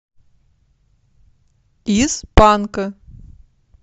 из панка